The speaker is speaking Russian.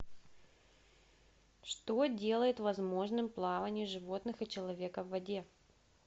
что делает возможным плавание животных и человека в воде